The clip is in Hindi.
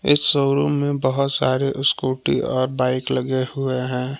इस शोरूम मे बहोत सारे स्कूटी और बाइक लगे हुए है।